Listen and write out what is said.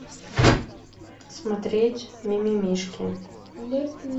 смотреть мимимишки